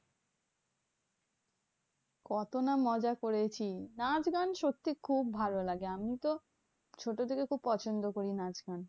কত না মজা করেছি। নাচ গান সত্যি খুব ভালো লাগে। আমিতো ছোট থেকে খুব পছন্দ করি নাচ গান।